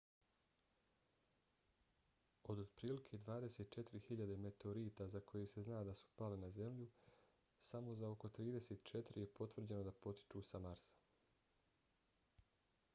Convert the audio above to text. od otprilike 24.000 meteorita za koje se zna da su pali na zemlju samo za oko 34 je potvrđeno da potiču sa marsa